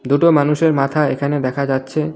দুটো মানুষের মাথা এখানে দেখা যাচ্ছে।